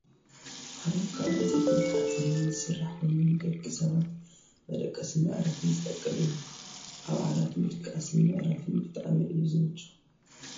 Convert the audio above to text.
ዓራት ካብ ዕንፀይትን ሓፂንን ዝስራሕ ኮይኑ ንደቂ ሰባት መደቀስን መዕረፍን ዝጠቅም እዩ። ኣብ ዓራት ምድቃስን ምዕራፍን ብጣዕሚ እዩ ዝምቹ ።